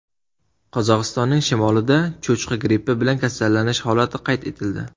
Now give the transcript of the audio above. Qozog‘istonning shimolida cho‘chqa grippi bilan kasallanish holati qayd etildi.